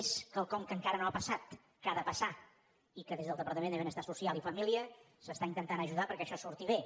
és quelcom que encara no ha passat que ha de passar i que des del departament de benestar social i família s’està intentant ajudar perquè això surti bé